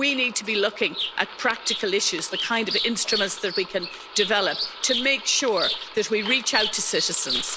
We need to be looking at practical issues, the kind of instruments that we can develop to make sure that we reach out to citizens.